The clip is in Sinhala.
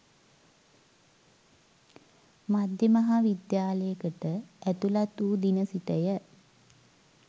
මධ්‍ය මහා විද්‍යාලයකට ඇතුළත් වූ දින සිටය